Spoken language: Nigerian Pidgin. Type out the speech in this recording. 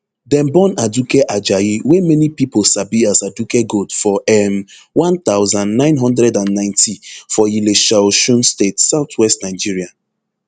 dem born aduke ajayi wey many pipo sabi as aduke gold for um one thousand, nine hundred and ninety for ilesha osun state southwest nigeria